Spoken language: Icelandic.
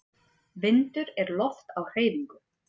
Vindur er loft á hreyfingu.